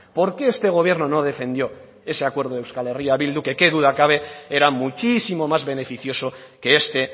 por qué este gobierno no defendió ese acuerdo de euskal herria bildu que qué duda cabe era muchísimo más beneficioso que este